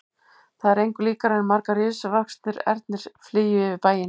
Það var engu líkara en margir risavaxnir ernir flygju yfir bæinn.